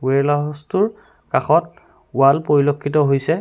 উৱেৰলা হাউছটোৰ কাষত ৱাল পৰিলক্ষিত হৈছে।